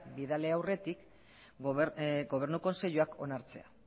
bidali aurretik gobernu kontseiluak onartzea